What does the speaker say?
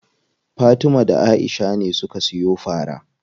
Fatima da Aisha ne suka siyo fara.